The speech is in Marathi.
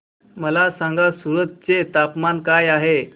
मला सांगा सूरत चे तापमान काय आहे